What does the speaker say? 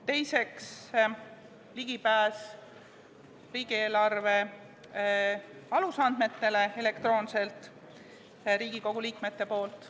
Teiseks, Riigikogu liikmetele tuleks anda elektrooniline ligipääs riigieelarve alusandmetele.